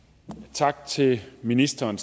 tak til ministeren